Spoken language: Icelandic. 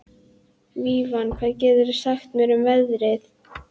Vivian, hvað geturðu sagt mér um veðrið?